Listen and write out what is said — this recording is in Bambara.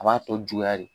A b'a tɔ juguya de